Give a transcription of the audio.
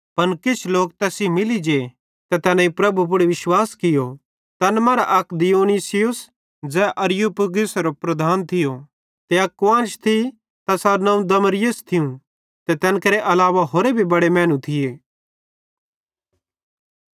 पन किछ लोक तैस सेइं मिली जे ते तैनेईं प्रभु पुड़ विश्वास कियो तैन मरां अक दियुनुसियुस ज़ै अरियुपगुसेरो प्रधान थियो ते अक कुआन्श थी तैसारू नवं दमरिस थियूं ते तैन केरे अलावा होरे भी बड़े मैनू थिये